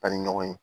An ni ɲɔgɔn ye